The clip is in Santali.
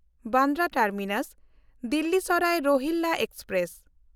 ᱵᱟᱱᱫᱨᱟ ᱴᱟᱨᱢᱤᱱᱟᱥ–ᱫᱤᱞᱞᱤ ᱥᱟᱨᱟᱭ ᱨᱳᱦᱤᱞᱞᱟ ᱮᱠᱥᱯᱨᱮᱥ